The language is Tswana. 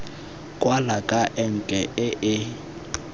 kwala ka enke e e